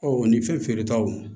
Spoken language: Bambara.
Ɔ ni fɛn feere taw